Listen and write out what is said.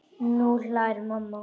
Nú hlær mamma.